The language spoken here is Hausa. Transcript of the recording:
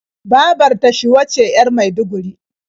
Babar ta Shuwa ce 'yar Maiduguri.